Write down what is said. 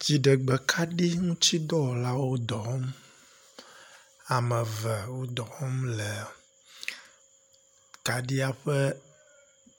Dziɖegbekaɖiŋutsidɔwɔlawo dɔ wɔm. Ame eve wo dɔ wɔm le kaɖia ƒe